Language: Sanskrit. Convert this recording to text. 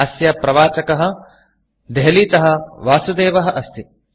अस्य प्रवाचकः देहलीतः वासुदेवः अस्ति